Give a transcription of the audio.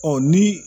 ni